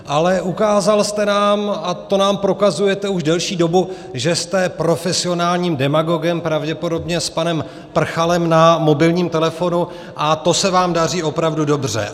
Ale ukázal jste nám - a to nám prokazujete už delší dobu - že jste profesionálním demagogem, pravděpodobně s panem Prchalem na mobilním telefonu, a to se vám daří opravdu dobře.